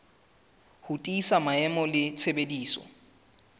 ho tiisa maemo le tshebediso